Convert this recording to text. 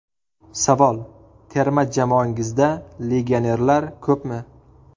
Savol: Terma jamoangizda legionerlar ko‘pmi?